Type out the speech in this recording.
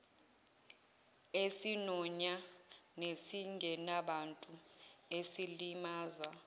esinonya nesingenabuntu esilimaza